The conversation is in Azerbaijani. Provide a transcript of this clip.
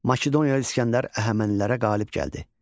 Makedoniya İsgəndər Əhəmənilərə qalib gəldi.